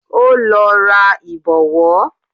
Ó lọ ra Ìbọ̀wọ́